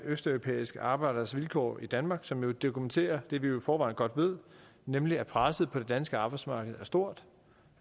østeuropæiske arbejderes vilkår i danmark som dokumenterer det vi i forvejen godt ved nemlig at presset på det danske arbejdsmarked er stort